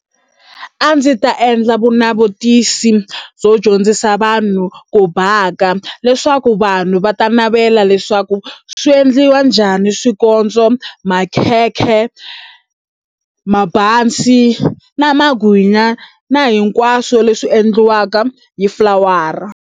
A ndzi ta endla vunavetisi byo dyondzisa vanhu ku baka leswaku vanhu va ta navela leswaku swi endliwa njhani swikotso, makhekhe, mabazi na magwinya na hinkwaswo leswi endliwaka hi flower-a.